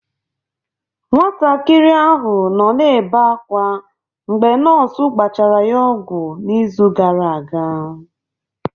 Nwatakịrị ahụ nọ na-ebe akwa mgbe nọọsụ gbachara ya ọgwụ n'izu gara aga.